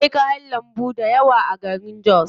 Akwai kayan lambu dayawa a garin jos.